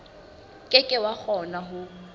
ke ke wa kgona ho